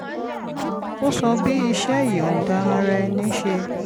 ó sọ bí iṣẹ́ ìyọ̀ǹda ara ẹni ṣe